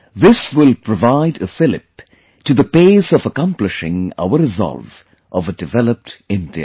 This will provide a fillip to the pace of accomplishing our resolve of a developed India